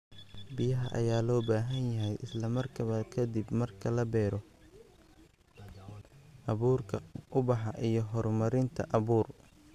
"Biyaha ayaa loo baahan yahay isla markaaba ka dib marka la beero, abuurka, ubaxa iyo horumarinta abuur."